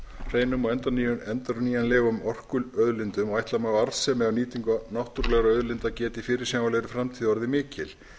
hreinum og endurnýjanlegum orkuauðlindum ætla má að arðsemi af nýtingu náttúrulegra auðlinda geti í fyrirsjáanlegri framtíð orðið mikil